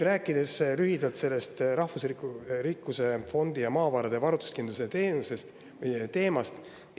Räägin nüüd lühidalt sellest rahvusliku rikkuse fondi ja maavarade varustuskindluse teemast.